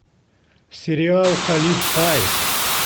сериал халиф аист